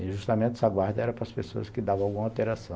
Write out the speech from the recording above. E justamente essa guarda era para as pessoas que davam alguma alteração.